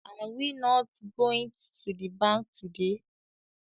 Are we not goint to the bank today